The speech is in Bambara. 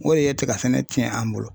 O de ye tigasɛnɛ cɛn an bolo.